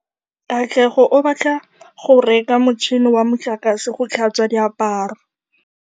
Katlego o batla go reka motšhine wa motlakase wa go tlhatswa diaparo.